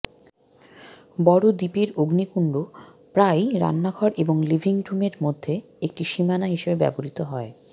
বড় দ্বীপের অগ্নিকুণ্ড প্রায়ই রান্নাঘর এবং লিভিং রুমে মধ্যে একটি সীমানার হিসাবে ব্যবহৃত হয়